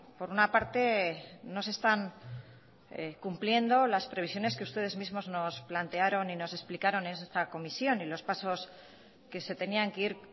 por una parte no se están cumpliendo las previsiones que ustedes mismos nos plantearon y nos explicaron en esta comisión y los pasos que se tenían que ir